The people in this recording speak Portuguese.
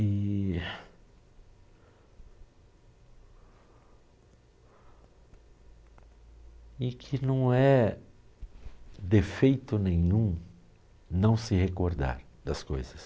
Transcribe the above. E e que não é defeito nenhum não se recordar das coisas.